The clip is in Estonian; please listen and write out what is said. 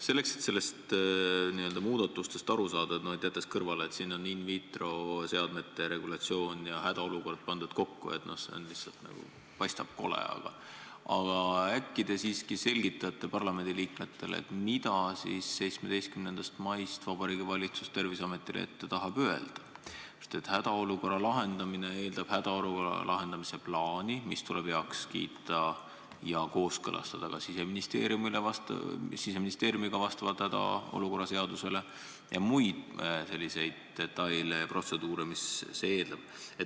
Selleks, et neist muudatustest aru saada – jätame kõrvale selle, et siin on in vitro seadmete regulatsioon ja hädaolukord kokku pandud, see lihtsalt paistab kole –, äkki te siiski selgitate parlamendi liikmetele, mida tahab Vabariigi Valitsus 17. maist Terviseametile ette öelda, sest hädaolukorra lahendamine eeldab hädaolukorra lahendamise plaani, mis tuleb Siseministeeriumil heaks kiita ja temaga ka kooskõlastada vastavalt hädaolukorra seadusele, ning muid selliseid detaile ja protseduure.